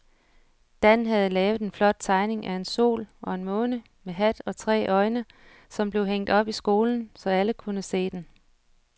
Dan havde lavet en flot tegning af en sol og en måne med hat og tre øjne, som blev hængt op i skolen, så alle kunne se den.